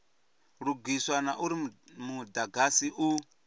lugiswa na uri mudagasi u